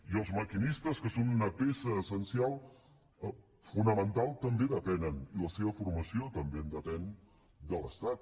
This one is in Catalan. i els maquinistes que són una peça essencial fonamental també depenen i la seva formació també en depèn de l’estat